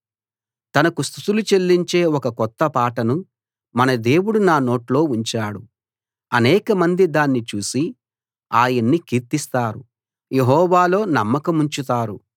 తనకు స్తుతులు చెల్లించే ఒక కొత్త పాటను మన దేవుడు నా నోట్లో ఉంచాడు అనేకమంది దాన్ని చూసి ఆయన్ని కీర్తిస్తారు యెహోవాలో నమ్మకముంచుతారు